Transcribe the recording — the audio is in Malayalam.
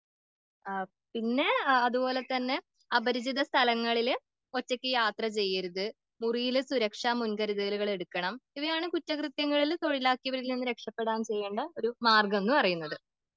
ആ പിന്നെ അതുപോലെതന്നെ അപചരിത സ്ഥലങ്ങളില് ഒറ്റക്ക് യാത്ര ചെയ്യരുത്.മുറിയില് സുരക്ഷാ മുൻകരുതലുകൾ എടുക്കണം.ഇവയാണ് കുറ്റകൃത്യങ്ങളിൽ തൊഴിലാക്കിയവരിൽ നിന്ന് രക്ഷപ്പെടാൻ ചെയ്യേണ്ട മാർഗം എന്ന് പറയുന്നത്.